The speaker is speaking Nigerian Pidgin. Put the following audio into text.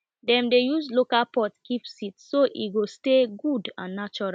dem dey use local pot keep seed so e go stay good and natural